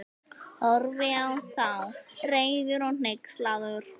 Horfði á þá, reiður og hneykslaður.